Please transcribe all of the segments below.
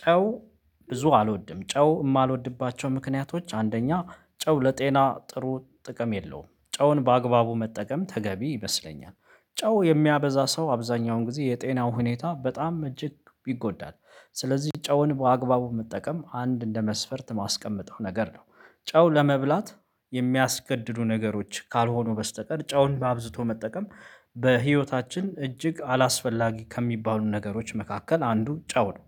ጨው ብዙ አልወድም ጨው የማልወድባቸው ምክንያቶች አንደኛ ጨው ለጤና ጥሩ ጥቅም የለውም ጨውን በአግባቡ መጠቀም ተገቢ ይመስለኛል ጨው የሚያበዛ ሰው አብዛኛውን ጊዜ የጤናው ሁኔታ በጣም እጅግ ይጎዳል። ስለዚህ ጨውን በአግባቡ መጠቀም አንድ እንደ መስፈርት ማስቀመጠው ነገር ነው። ጨው ለመብላት የሚያስገድዱ ነገሮች ካልሆኑ በስተቀር ጨውን ባብዝቶ መጠቀም በህይወታችን እጅግ አላስፈላጊ ከሚባሉ ነገሮች መካከል አንዱ ጨው ነው።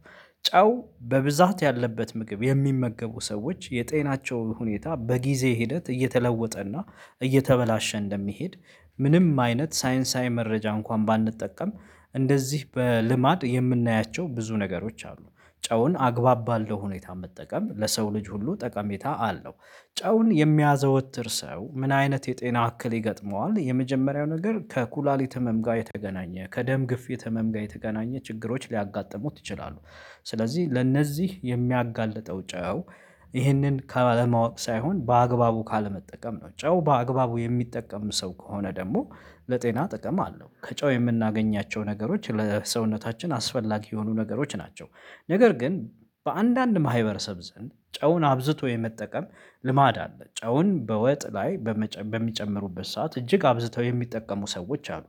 ጨው በብዛት ያለበት ምግብ የሚመገቡ ሰዎች የጤናቸው ሁኔታ በጊዜ ሂደት እየተለወጠ እና እየተበላሸ እንደሚሄድ። ምንም አይነት ሳይንሳዊ መረጃ እንኳን ባንጠቀም እንደዚህ በልማድ የምናያቸው ብዙ ነገሮች አሉ። ጨውን አግባብ ባለው ሁኔታ መጠቀም ለሰው ልጅ ሁሉ ጠቀሜታ አለው። ጨውን የሚያዘወትር ሰው ምን አይነት የጤና ያክል ይገጥመዋል የመጀመሪያው ነገር ከኩላሊት ህመም ጋር የተገናኘ ከደም ግፍ የተመም ጋር የተገናኘ ችግሮች ሊያጋጥሙት ይችላሉ። ስለዚህ ለእነዚህ የሚያጋልጠው ጨው። ይሄንን ከማወቅ ሳይሆን በአግባቡ ካለመጠቀም ነው። ጨው በአግባቡ የሚጠቀም ሰው ከሆነ ደግሞ ለጤና ጥቅም አለው ከጨው የምናገኛቸው ነገሮች ለሰውነታችን አስፈላጊ የሆኑ ነገሮች ናቸው። ነገር ግን በአንዳንድ ማህበረሰብ ዘንድ ጨውን አብዝቶ የመጠቀም ልማድ አለ። ጨውን በወጥ ላይ በሚጨምሩበት ሰዓት እጅግ አብዝተው የሚጠቀሙ ሰዎች አሉ።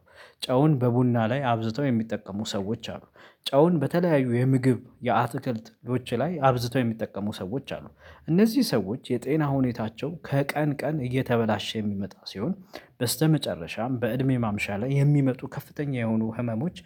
ጨውን በቡና ላይ አብዝተው የሚጠቀሙ ሰዎች አሉ። ጨውን በተለያዩ የምግብ የአትክልት ሎች ላይ አብዝተው የሚጠቀሙ ሰዎች አሉ። እነዚህ ሰዎች የጤና ሁኔታቸው ከቀን ቀን እየተበላሸ የሚመጣ ሲሆን በስተመጨረሻም በእድሜ ማምሻ ላይ የሚመጡ ከፍተኛ የሆኑ ህመሞች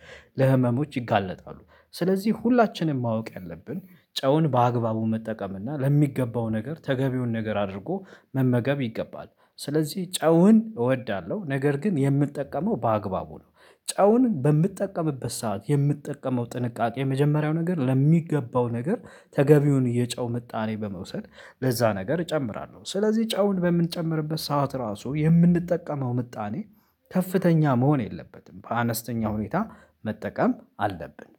ለህመሞች ይጋለጣሉ። ስለዚህ ሁላችንም ማወቅ ያለብን ጨውን በአግባቡ መጠቀም እና ለሚገባው ነገር ተገቢውን ነገር አድርጎ መመገብ ይገባል። ስለዚህ ጨውን እወዳለሁ ነገር ግን የምጠቀመው በአግባቡ ነው። ጨውን በምጠቀምበት ሰዓት የምጠቀመው ጥንቃቄ የመጀመሪያው ነገር ለሚገባው ነገር ተገቢውን የጨው ምጣኔ በመውሰድ ለዛ ነገር እጨምራለሁ ስለዚህ ጨውን በምንጨምርበት ሰዓት ራሱ የምንጠቀመው ምጣኔ። ከፍተኛ መሆን የለበትም በአነስተኛ ሁኔታ መጠቀም አለብን።